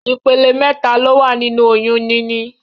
Ìpele mẹ́ta ló wà nínu oyún níní.